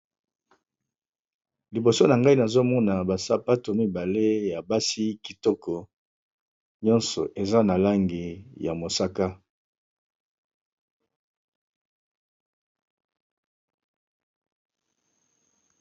Liboso nangai nazomona ba sapatu mibale ya basi kitoko nyoso Ezra na langi ya mosaka